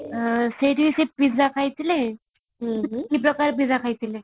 ସେଇଠି pizza ଖାଇଥିଲେ ଖାଇଥିଲେ |